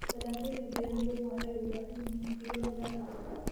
Dalagyada beeruhu waxay u baahan yihiin fiiro gaar ah.